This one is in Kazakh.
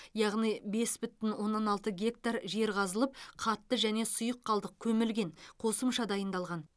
яғни бес бүтін оннан алты гектар жер қазылып қатты және сұйық қалдық көмілген қосымша дайындалған